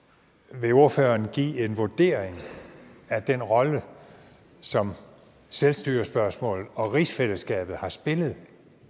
vil ordføreren give en vurdering af den rolle som selvstyrespørgsmålet og rigsfællesskabet har spillet